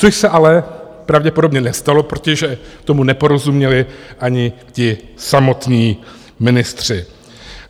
Což se ale pravděpodobně nestalo, protože tomu neporozuměli ani ti samotní ministři.